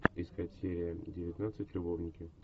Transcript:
искать серия девятнадцать любовники